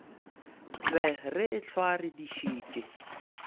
be re ehlwa re dišitše